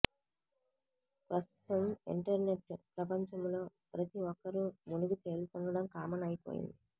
ప్రస్తుతం ఇంటర్నెట్ ప్రపంచంలో ప్రతి ఒక్కరు మునిగి తేలుతుండడం కామన్ అయిపొయింది